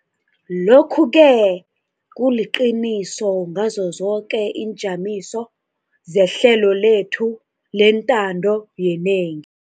Lokhu-ke kuliqiniso ngazo zoke iinjamiso zehlelo lethu lentando yenengi.